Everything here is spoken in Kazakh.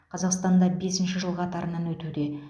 қазақстанда бесінші жыл қатарынан өтуде